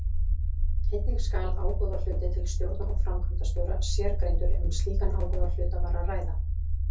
Einnig skal ágóðahluti til stjórnar og framkvæmdastjóra sérgreindur ef um slíkan ágóðahluta var að ræða.